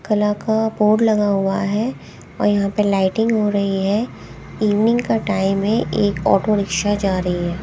कला का बोर्ड लगा हुआ है और यहां पे लाइटिंग हो रही है इवनिंग का टाइम है एक ऑटो रिक्शा जा रही है।